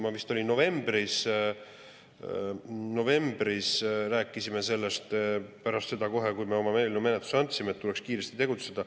Me vist novembris rääkisime sellest, kohe pärast seda, kui me oma eelnõu menetlusse andsime, et tuleks kiiresti tegutseda.